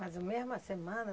Mas a mesma semana?